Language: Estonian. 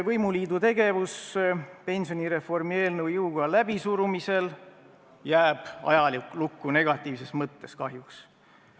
Võimuliidu tegevus pensionireformi eelnõu jõuga läbisurumisel jääb ajalukku negatiivses mõttes, kahjuks.